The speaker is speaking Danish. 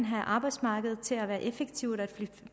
have arbejdsmarkedet til at være effektivt og